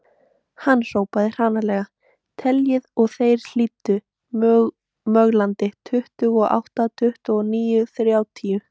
Hann hrópaði hranalega: Teljið og þeir hlýddu möglandi,.tuttugu og átta, tuttugu og níu, þrjátíu